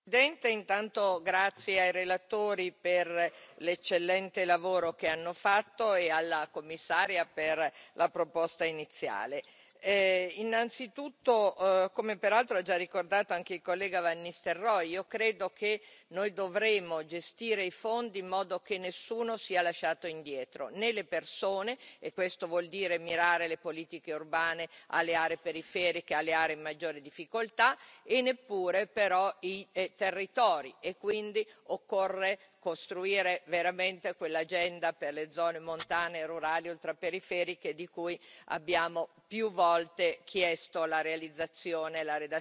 Signora Presidente, onorevoli colleghi, intanto grazie ai relatori per l'eccellente lavoro che hanno fatto e alla Commissaria per la proposta iniziale. Innanzitutto, come peraltro ha già ricordato anche il collega van Nistelrooij, io credo che noi dovremmo gestire i fondi in modo che nessuno sia lasciato indietro né le persone, e questo vuol dire mirare alle politiche urbane, alle aree periferiche, alle aree in maggiore difficoltà e neppure però i territori, e quindi occorre costruire veramente quell'agenda per le zone montane, rurali e ultraperiferiche di cui abbiamo più volte chiesto la realizzazione e la redazione